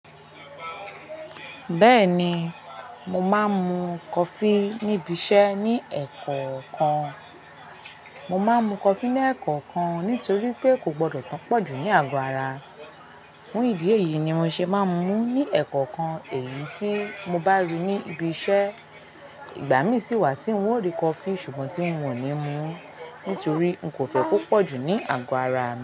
Bẹ́ẹ̀ni, mo máa ń mu coffee níbi iṣẹ́ ní ẹ̀ẹ̀kọ̀kan. Mo máa ń mu coffee ní ẹ̀ẹ̀kọ̀kan nítorí pé kò gbọdọ̀ tun pọ̀jù ní àgọ́ ara. Fún ìdí èyí ni mo ṣe máa ń mú ní ẹ̀ẹ̀kọ̀kan èyí tí mo bá rí ní ibi iṣẹ́. Ìgbà mí sì wà tí n ó rí coffee ṣùgbọ́n tí n wọ̀ ní mú ní torí n kò fẹ́ kó pọ̀ jù ní àgọ́ ara mi.